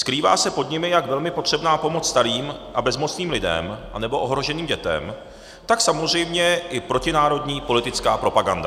Skrývá se pod nimi jak velmi potřebná pomoc starým a bezmocným lidem nebo ohroženým dětem, tak samozřejmě i protinárodní politická propaganda.